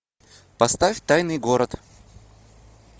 поставь тайный город